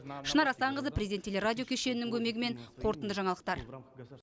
шынар асанқызы президент телерадио кешенінің көмегімен қорытынды жаңалықтар